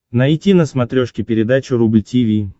найти на смотрешке передачу рубль ти ви